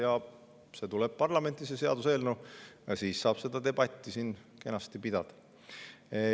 See seaduseelnõu tuleb parlamenti ja siis saab seda debatti siin kenasti pidada.